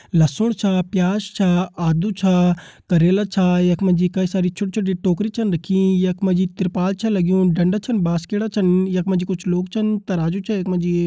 लसुन च प्याज च आलू च करेला च यखमा जी कई सारी छोटी-छोटी टोकरी छिन रखीं यखमा जी त्रिपाल च लगयूं डंडा छन बास्केडा छन यखमा जी कुछ लोग छिन तराजू च यखमा जी --